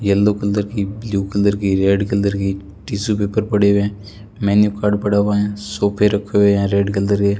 yellow colour की blue colour की red colour की टिशू पेपर पड़े हुए हैं मेनू कार्ड पड़ा हुआ है सोफे रखे हुए हैं रेड कलर के --